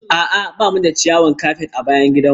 A'a ba mu da ciyawar kafet a bayan gidanmu.